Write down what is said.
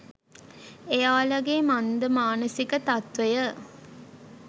එයාලගෙ මන්ද මානසික තත්ත්වය.